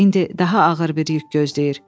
İndi daha ağır bir yük gözləyir.